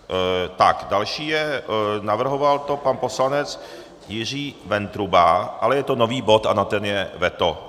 Tak další je - navrhoval to pan poslanec Jiří Ventruba, ale je to nový bod a na ten je veto.